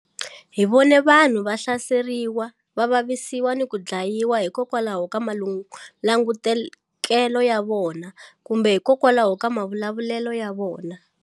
Hi vone vanhu va hlaseriwa, va vavisiwa ni ku dlayiwa hikokwalaho ka malangutekelo ya vona kumbe hikokwalaho ka mavulavulelo ya vona.